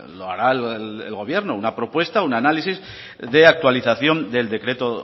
lo hará el gobierno una propuesta una análisis de actualización del decreto